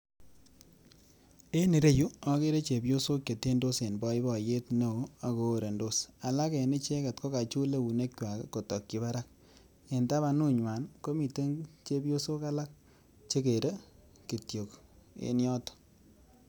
En ireyuu okere chepyosok chetyendos en boiboiyet neo ak ko orendos alak en ichek ko kachul eune kwa kotoki barak en tapanu nywan komiten chepyosok alal chekere kityok en yotok.